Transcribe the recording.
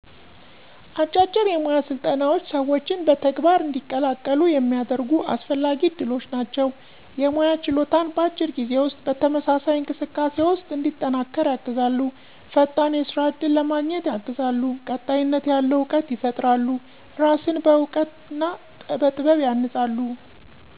አጫጭር የሞያ ስልጠናዎች ሰዎችን በተግባር እንዲቀላቀሉ የሚያደርጉ አስፈላጊ ዕድሎች ናቸው። የሞያ ችሎታን በአጭር ጊዜ ውስጥ በተመሳሳይ እንቅስቃሴ ውስጥ እንዲጠናከር ያግዛሉ። ፈጣን የስራ እድል ለማገኘት ያግዛሉ። ቀጣይነት ያለው እውቀት ይፈጥራሉ። እራስን በዕውቀት ና በጥበብ ያንጻሉ።